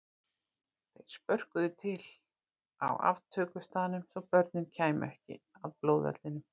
Þeir spörkuðu til á aftökustaðnum svo börnin kæmu ekki að blóðvellinum.